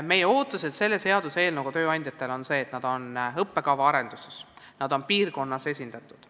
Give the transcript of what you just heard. Me ootame selle seaduseelnõuga seoses tööandjatelt seda, et nad oleksid õppekavaarenduses piirkonnas esindatud.